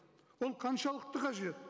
ол қаншалықты қажет